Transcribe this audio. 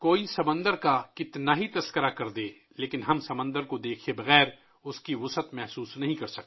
سمندر کو کوئی کتنا ہی بیان کرے، ہم سمندر کو دیکھے بغیر اس کی وسعت کو محسوس نہیں کر سکتے